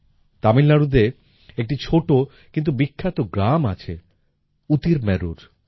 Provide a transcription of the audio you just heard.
তামিলনাড়ুতে একটি ছোট কিন্তু বিখ্যাত গ্রাম আছে উতিরমেরুর